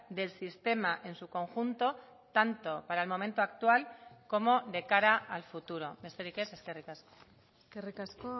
del sistema en su conjunto tanto para el momento actual como de cara al futuro besterik ez eskerrik asko eskerrik asko